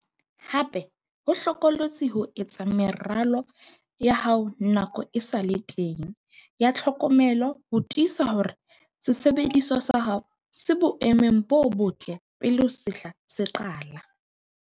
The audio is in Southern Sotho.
Hape ho hlokolosi ho etsa meralo ya hao nako e sa le teng ya tlhokomelo le ho tiisa hore sesebediswa sa hao se boemong bo botle pele sehla se qala.